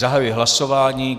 Zahajuji hlasování.